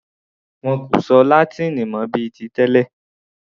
Wọn kò sọ Látíìnì mọ bíi ti tẹlẹ̀.